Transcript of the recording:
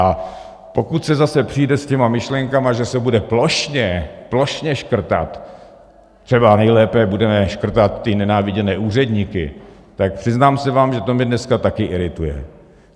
A pokud se zase přijde s těmi myšlenkami, že se bude plošně, plošně škrtat, třeba nejlépe budeme škrtat ty nenáviděné úředníky, tak přiznám se vám, že to mě dneska taky irituje.